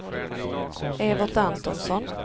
Evert Antonsson